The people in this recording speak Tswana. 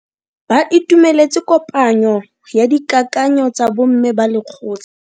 Ba itumeletse kopanyo ya dikakanyo tsa bo mme ba lekgotla.